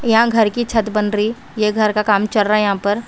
यहां घर की छत बन रही ये घर का काम चल रहा है यहां पर।